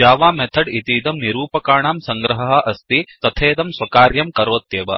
Java method इतीदं निरूपकाणां सङ्ग्रहः अस्ति तथेदं स्वकार्यं करोत्यॆव